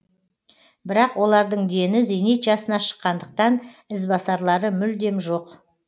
бірақ олардың дені зейнет жасына шыққандықтан ізбасарлары мүлдем жоқ